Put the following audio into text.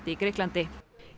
í Grikklandi